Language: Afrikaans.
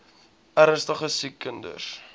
ernstige siek kinders